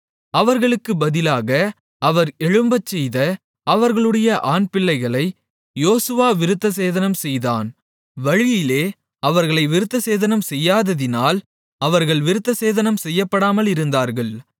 அவர்களுக்குப் பதிலாக அவர் எழும்பச்செய்த அவர்களுடைய ஆண் பிள்ளைகளை யோசுவா விருத்தசேதனம்செய்தான் வழியிலே அவர்களை விருத்தசேதனம் செய்யாததினால் அவர்கள் விருத்தசேதனம் செய்யப்படாமலிருந்தார்கள்